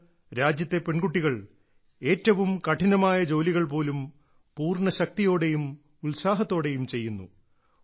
ഇന്ന് രാജ്യത്തെ പെൺകുട്ടികൾ ഏറ്റവും കഠിനമായ ജോലികൾ പോലും പൂർണ്ണ ശക്തിയോടെയും ഉത്സാഹത്തോടെയും ചെയ്യുന്നു